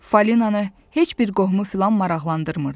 Falinanı heç bir qohumu filan maraqlandırmırdı.